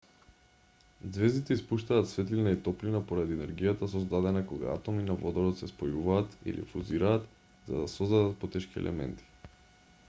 ѕвездите испуштаат светлина и топлина поради енергијата создадена кога атоми на водород се спојуваат или фузираат за да создадат потешки елементи